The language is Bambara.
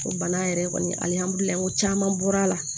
O bana yɛrɛ kɔni alihamudulilayi caman bɔra la